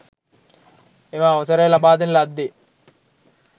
එම අවසරය ලබාදෙන ලද්දේ